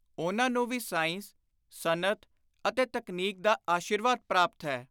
ਉਨ੍ਹਾਂ ਨੂੰ ਵੀ ਸਾਇੰਸ, ਸਨਅਤ ਅਤੇ ਤਕਨੀਕ ਦਾ ਆਸ਼ੀਰਵਾਦ ਪਾਪਤ ਹੈ।